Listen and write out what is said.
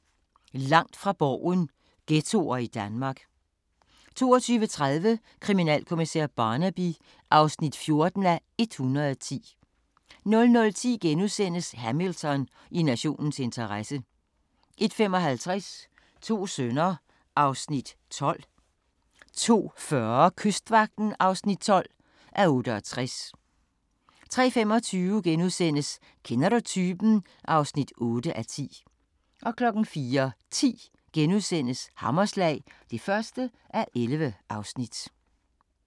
21:55: Langt fra Borgen: Ghettoer i Danmark 22:30: Kriminalkommissær Barnaby (14:110) 00:10: Hamilton: I nationens interesse * 01:55: To sønner (Afs. 12) 02:40: Kystvagten (12:68) 03:25: Kender Du Typen? (8:10)* 04:10: Hammerslag (1:11)*